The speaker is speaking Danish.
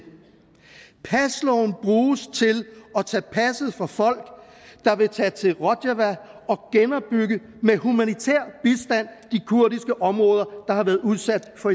pasloven bruges til at tage passet fra folk der vil tage til rojava og med humanitær bistand genopbygge kurdiske områder der har været udsat for